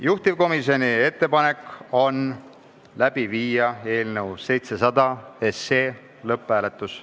Juhtivkomisjoni ettepanek on viia läbi eelnõu 700 lõpphääletus.